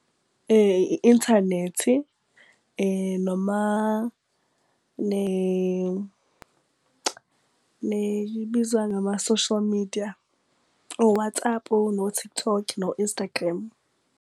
I-inthanethi noma ibizwa ngama-social media o-WhatsApp, no-TikTok, no-Instagram.